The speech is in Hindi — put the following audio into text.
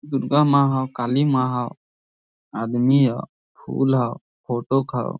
दुर्गा माँ हव काली माँ हव आदमी हव फुल हव फ़ोटो हव।